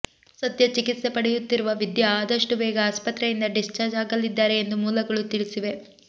ಸದ್ಯ ಚಿಕಿತ್ಸೆ ಪಡೆಯುತ್ತಿರುವ ವಿದ್ಯಾ ಆದಷ್ಟು ಬೇಗ ಆಸ್ಪತ್ರೆಯಿಂದ ಡಿಸ್ಚಾರ್ಜ್ ಆಗಲಿದ್ದಾರೆ ಎಂದು ಮೂಲಗಳು ತಿಳಿಸಿವೆ